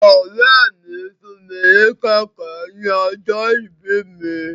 Ọ̀rẹ́ mi fún mi ní kẹ̀kẹ́ ní ọjọ́ ìbí mi.